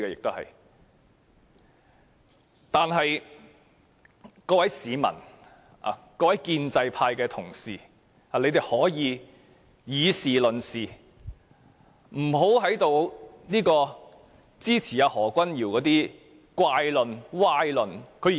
我想請各位市民和建制派議員以事論事，不要支持何君堯議員的怪論、歪論。